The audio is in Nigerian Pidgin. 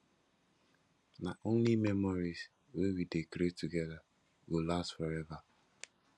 na only memories wey we dey create together go last forever